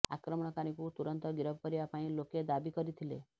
ଆକ୍ରମଣକାରୀଙ୍କୁ ତୁରନ୍ତ ଗିରଫ କରିବା ପାଇଁ ଲୋକେ ଦାବି କରିଥିଲେ